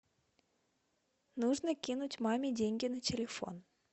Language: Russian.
нужно кинуть маме деньги на телефон